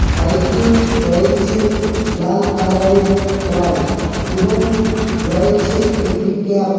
সাইটে রয়েছে লাল কালারের ওয়াল এবং রয়েছে একটি ক্যাপ ।